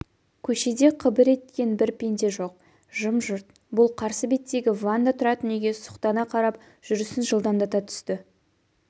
көшеде қыбыр еткен бір пенде жоқ жым-жырт бұл қарсы беттегі ванда тұратын үйге сұқтана қарап жүрісін жылдамдата түсті